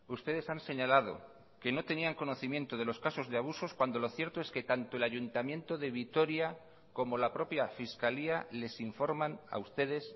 ustedes han señalado que no tenían conocimiento de los casos de abusos cuando lo cierto es que tanto el ayuntamiento de vitoria como la propia fiscalía les informan a ustedes